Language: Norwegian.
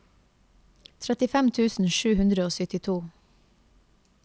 trettifem tusen sju hundre og syttito